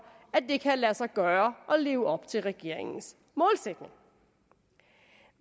at det kan lade sig gøre at leve op til regeringens målsætning